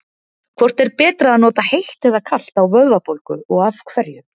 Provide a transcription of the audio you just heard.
Hvort er betra að nota heitt eða kalt á vöðvabólgu og af hverju?